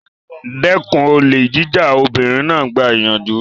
Dẹ́kun olè jíjà! Obìnrin náà gba ìyànjú.